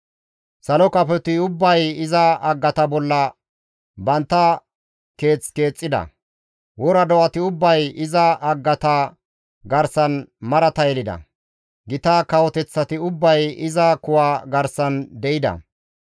Salo kafoti ubbay iza haggata bolla bantta keeth keexxida; wora do7ati ubbay iza haggata garsan marata yelida; gita kawoteththati ubbay iza kuwa garsan de7ida.